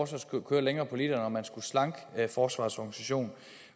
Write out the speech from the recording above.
skulle køre længere på literen og at man skulle slanke forsvarets organisation